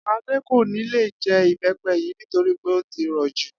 Adé kò ní lè je̩ ìbé̩pe̩ yìí nítorí pé ó ti rò̩ jù